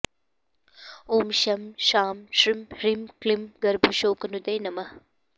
ॐ शं शां षं ह्रीं क्लीं गर्भशोकनुदे नमः